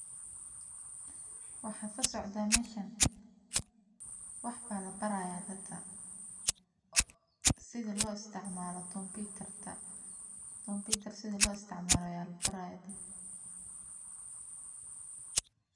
Waxa kasocdo meeshan wax baa la baraaya dadka sida loo isticmaalo kompitarka.